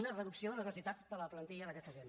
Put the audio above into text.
una reducció de les necessitats de la plantilla d’aquesta gent